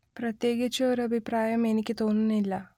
പ്രത്യേകിച്ച് ഒരു അഭിപ്രായം എനിക്ക് തോന്നുന്നില്ല